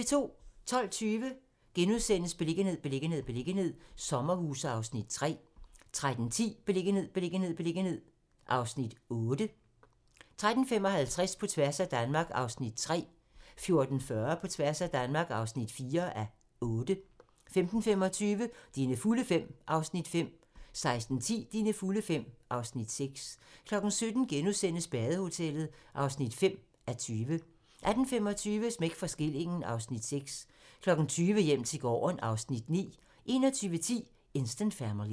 12:20: Beliggenhed, beliggenhed, beliggenhed - sommerhuse (Afs. 3)* 13:10: Beliggenhed, beliggenhed, beliggenhed (Afs. 8) 13:55: På tværs af Danmark (3:8) 14:40: På tværs af Danmark (4:8) 15:25: Dine fulde fem (Afs. 5) 16:10: Dine fulde fem (Afs. 6) 17:00: Badehotellet (5:20)* 18:25: Smæk for skillingen (Afs. 6) 20:00: Hjem til gården (Afs. 9) 21:10: Instant Family